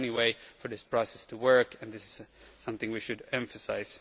That is the only way for this process to work, and this is something we should emphasise.